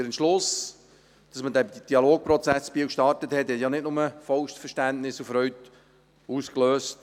Der Entschluss, dass man den Dialogprozess in Biel startete, löste nicht nur vollstes Verständnis und Freude aus.